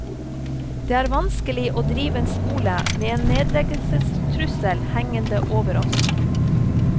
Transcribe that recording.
Det er vanskelig å drive en skole med en nedleggelsestrussel hengende over oss.